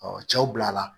cɛw bilala